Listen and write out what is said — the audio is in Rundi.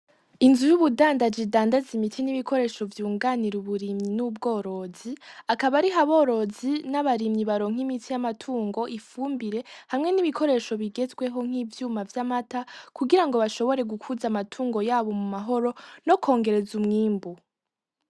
Inzu y'ubundandaji idandarizwamw'imiti n'ibikoresho vyunganir'uburimyi n'ubworozi akab'arih'aborozi, n'abarimyi baronkera imiti y'ibitungwa, ifumbire hamwen'ibikoresho bigezweho, nk'ibikoresho babikamw'amata kugirango agume ameze neza, hamwe nokongerez 'umwimbu.